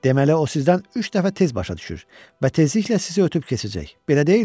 Deməli o sizdən üç dəfə tez başa düşür və tezliklə sizi ötüb keçəcək, belə deyilmi?